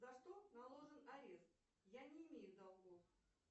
за что наложен арест я не имею долгов